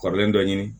Kɔrɔlen dɔ ɲini